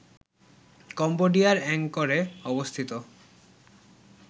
কম্বোডিয়ার অ্যাংকরে অবস্থিত